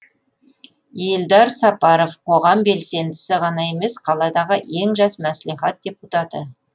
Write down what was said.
елдар сапаров қоғам белсендісі ғана емес қаладағы ең жас мәслихат депутаты